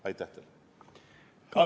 Aitäh teile!